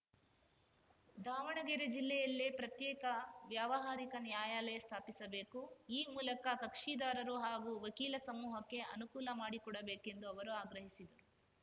ದಾವಣಗೆರೆ ಜಿಲ್ಲೆಯಲ್ಲೆ ಪ್ರತ್ಯೇಕ ವ್ಯವಹಾರಿಕ ನ್ಯಾಯಾಲಯ ಸ್ಥಾಪಿಸಬೇಕು ಈ ಮೂಲಕ ಕಕ್ಷಿದಾರರು ಹಾಗೂ ವಕೀಲ ಸಮೂಹಕ್ಕೆ ಅನುಕೂಲ ಮಾಡಿಕೊಡಬೇಕೆಂದು ಅವರು ಆಗ್ರಹಿಸಿದರು